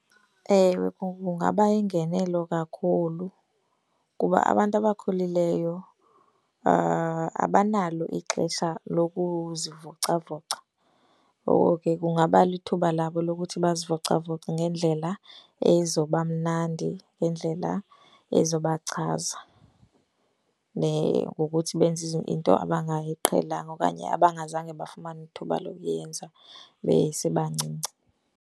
Ewe, kungaba yingenelo kakhulu kuba abantu abakhulileyo abanalo ixesha lokuzivocavoca. Ngoko ke kungaba lithuba labo lokuthi bazivocavoce ngendlela ezoba mnandi, ngendlela ezoba chaza ngokuthi benze into abangayiqhelanga okanye abangazange bafumana ithuba lokuyenza besebancinci.